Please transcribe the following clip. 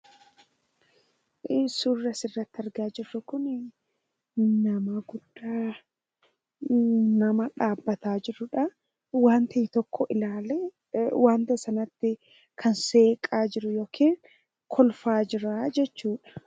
Suura asirratti argaa jirru kun nama guddaa nama dhaabbataa jirudha. Waanta tokko ilaalee wanta sanatti kan seeqaa jiru yookiin kolfaa jiru jechuudha.